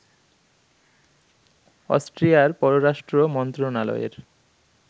অস্ট্রিয়ার পররাষ্ট্র মন্ত্রণালয়ের